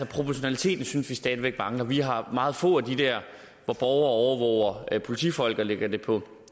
proportionaliteten synes vi stadig væk mangler vi har meget få af dem der hvor borgere overvåger politifolk og lægger det på